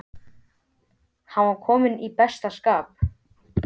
Hann var kominn í besta skap.